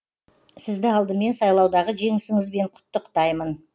сізді алдымен сайлаудағы жеңісіңізбен құттықтаймын